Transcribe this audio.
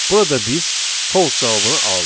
Burada biz false cavabını aldıq.